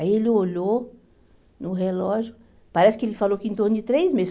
Aí ele olhou no relógio, parece que ele falou que em torno de três meses.